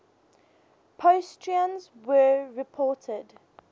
positrons were reported